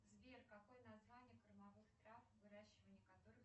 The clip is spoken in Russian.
сбер какое название кормовых трав выращивание которых